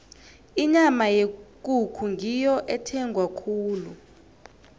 inyama yekukhu ngiyo ethengwa khulu